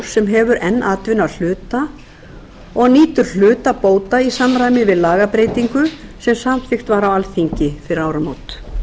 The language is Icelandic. sem hefur enn atvinnu að hluta og nýtur hluta bóta í samræmi við lagabreytingu sem samþykkt var á alþingi fyrir áramót